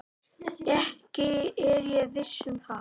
Ekki er ég viss um það.